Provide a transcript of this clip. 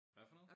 Hvad for noget?